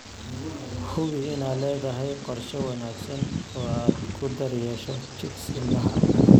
Hubi inaad leedahay qorshe wanaagsan oo aad ku daryeesho chicks ilmaha.